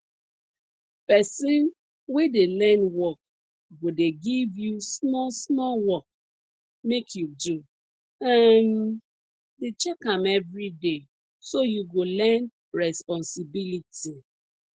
person wey dey learn work go dey give you small small work make you do um dey check am everyday so you go learn responsibility